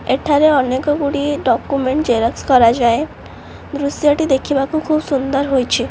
ଏଠାରେ ଅନେକ ଗୁଡ଼ିଏ ଡକୁମେଣ୍ଟ୍ ଜେରକ୍ସ କରାଯାଏ ଦୃଶ୍ୟଟି ଦେଖିବାକୁ ଖୁବ ସୁନ୍ଦର ହୋଇଛି।